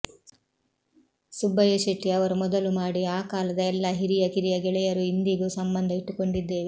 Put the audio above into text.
ಸುಬ್ಬಯ್ಯಶೆಟ್ಟಿ ಅವರು ಮೊದಲು ಮಾಡಿ ಆ ಕಾಲದ ಎಲ್ಲ ಹಿರಿಯ ಕಿರಿಯ ಗೆಳೆಯರೂ ಇಂದಿಗೂ ಸಂಬಂಧ ಇಟ್ಟುಕೊಂಡಿದ್ದೇವೆ